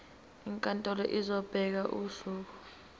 inkantolo izobeka usuku